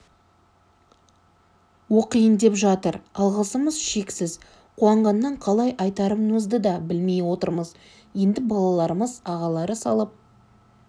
оқиын деп жатыр алғысымыз шексіз қуанғаннан қалай айтарымызды да білмей отырмыз енді балаларымыз ағалары салып